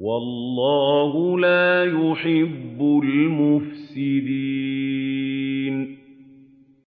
وَاللَّهُ لَا يُحِبُّ الْمُفْسِدِينَ